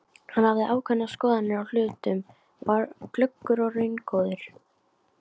Hann hafði ákveðnar skoðanir á hlutunum, var glöggur og raungóður.